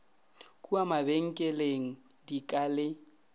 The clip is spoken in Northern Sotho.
kua mabenkeleng di ka le